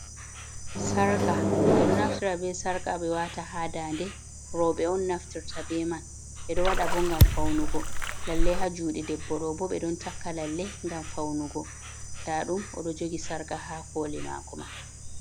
Sarƙa, ɓe ɗo naftira be sarƙa ɓe waata haa dande. Rowɓe on naftirta be man, ɓe ɗo waɗa bo ngam faunugo. Lalle haa juuɗe debbo ɗo bo ɓe ɗon takka lalle ngam faunugo. Nda ɗum o ɗo jogi sarƙa haa kooli maako mai.